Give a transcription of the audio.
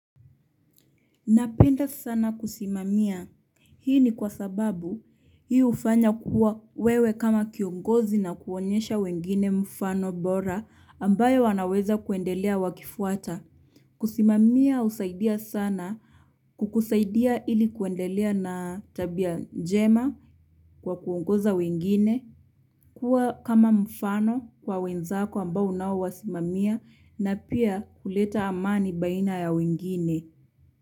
Napenda sana kusimamia. Hii ni kwa sababu hii hufanya kuwa wewe kama kiongozi na kuonyesha wengine mfano bora ambao wanaweza kuendelea wakifuata. Kusimamia husaidia sana kukusaidia ili kuendelea na tabia njema kwa kuongoza wengine. Kuwa kama mfano kwa wenzako ambao unao wasimamia na pia kuleta amani baina ya wengine.